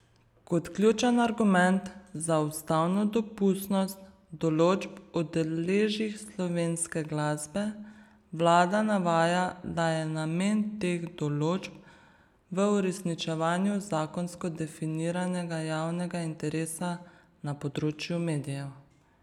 Kot ključen argument za ustavno dopustnost določb o deležih slovenske glasbe vlada navaja, da je namen teh določb v uresničevanju zakonsko definiranega javnega interesa na področju medijev.